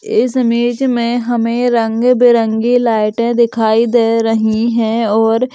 इस इमेज में हमें रंग बिरंगी लाइट दिखाई दे रही है और--